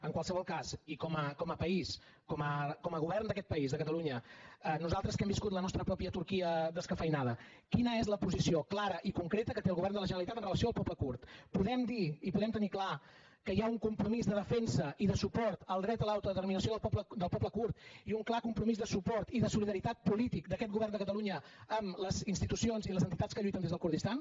en qualsevol cas i com a país com a govern d’aquest país de catalunya nosaltres que hem viscut la nostra pròpia turquia descafeïnada quina és la posició clara i concreta que té el govern de la generalitat amb relació al poble kurd podem dir i podem tenir clar que hi ha un compromís de defensa i de suport al dret a l’autodeterminació del poble kurd i un clar compromís de suport i de solidaritat polític d’aquest govern de catalunya a les institucions i les entitats que lluiten des del kurdistan